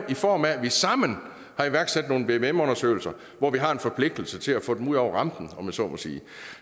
i form af at vi sammen har iværksat nogle vvm undersøgelser hvor vi har en forpligtelse til at få tingene ud over rampen om jeg så må sige